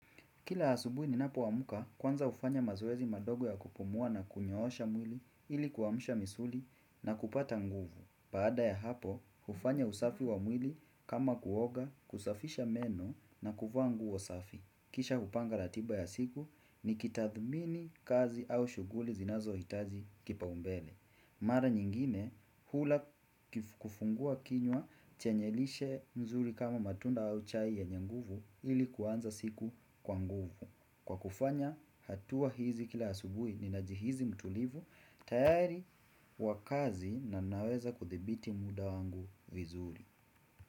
Kila asubui ni napoamka kwanza ufanya mazoezi madogo ya kupumua na kunyoosha mwili ili kuamsha misuli na kupata nguvu. Baada ya hapo, hufanya usafi wa mwili kama kuoga, kusafisha meno na kuvaa nguo safi. Kisha hupanga ratiba ya siku ni kitathmini kazi au shughuli zinazo hitaji kipa umbele. Mara nyingine hula kufungua kinywa chenyelishe mzuri kama matunda au chai ye nye nguvu ili kuanza siku kwa nguvu Kwa kufanya hatua hizi kila asubui ni najihizi mtulivu tayari wakazi na naweza kuthibiti muda wangu vizuri.